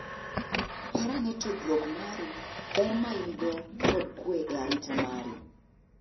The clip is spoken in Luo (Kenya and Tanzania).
Par ane tudruok mari, ber main go kod kwe e arita mari